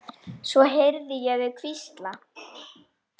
Svo heyrði ég þau hvísla.